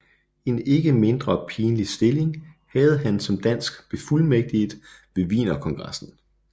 En ikke mindre pinlig stilling havde han som dansk befuldmægtiget ved Wienerkongressen